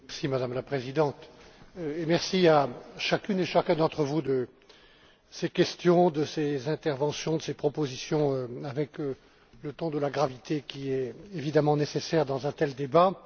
Madame la Présidente, je remercie chacune et chacun d'entre vous de ses questions, de ses interventions et de ses propositions avec le ton de la gravité qui est évidemment nécessaire dans un tel débat.